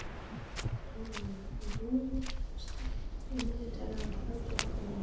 Rúnel, stilltu niðurteljara á þrjátíu og átta mínútur.